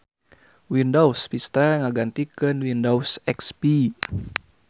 Windows Vista ngagantikeun Windows XP.